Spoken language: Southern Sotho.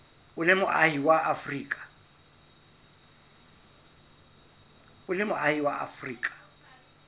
o le moahi wa afrika